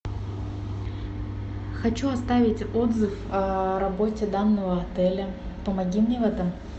хочу оставить отзыв о работе данного отеля помоги мне в этом